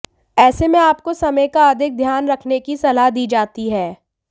ऐसे में आपको समय का अधिक ध्यान रखने की सलाह दी जाती है